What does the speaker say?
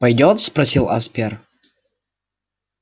пойдёт спросил аспер